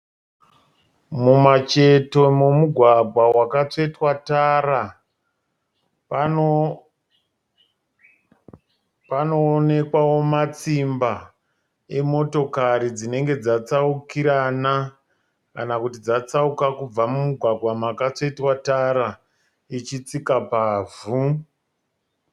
Mumacheto memugwagwa wakatsvetwa tara panoonekwavo matsimba emotokari dzinenge dzatsaukirana kana kuti dzatsauka kubva mumugwagwa makatsvetwa tara ichitsika pavhu